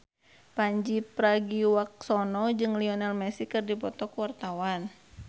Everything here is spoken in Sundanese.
Pandji Pragiwaksono jeung Lionel Messi keur dipoto ku wartawan